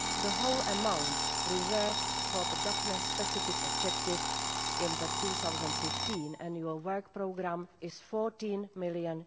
The whole amount reserved for the Daphne specific objective in the 2015 Annual Work Programme is EUR 14 million.